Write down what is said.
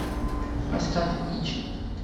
поставь ичи